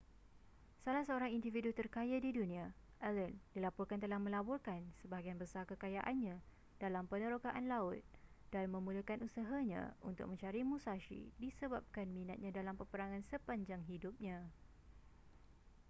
salah seorang individu terkaya di dunia allen dilaporkan telah melaburkan sebahagian besar kekayaannya dalam penerokaan laut dan memulakan usahanya untuk mencari musashi disebabkan minatnya dalam peperangan sepanjang hidupnya